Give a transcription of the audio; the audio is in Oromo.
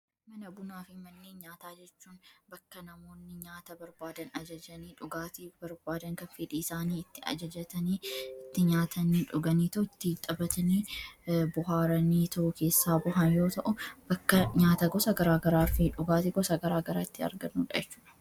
Mana bunaa fi manneen nyaata jechuun bakka namoonni nyaata barbaadan ajajanii dhugaatii barbaadan kan fedhiisaanii itti ajajatanii itti nyaatanii dhuganiitoo itti taphatanii bashannananii keessaa bahan yoo ta'u bakka nyaata gosa garaa garaa fi dhugaati gosa garaa garaatti argamudhaa.